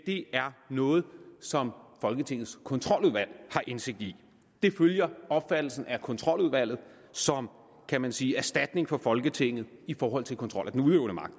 det er noget som folketingets kontroludvalg har indsigt i det følger opfattelsen af kontroludvalget som kan man sige erstatningen for folketinget i forhold til kontrol af den udøvende magt